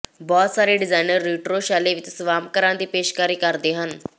ਬਹੁਤ ਸਾਰੇ designer retro ਸ਼ੈਲੀ ਵਿਚ ਸਵਾਮਕਰਾਂ ਦੀ ਪੇਸ਼ਕਸ਼ ਕਰਦੇ ਹਨ